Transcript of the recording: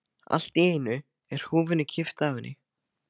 Allt í einu er húfunni kippt af henni!